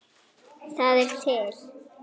Það er til